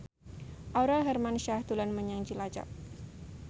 Aurel Hermansyah dolan menyang Cilacap